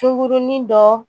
Sunkurunin dɔ